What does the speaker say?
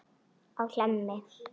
á Hlemmi.